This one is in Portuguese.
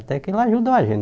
Até que não ajudou a gente.